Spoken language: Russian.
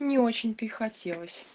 не очень то и хотелось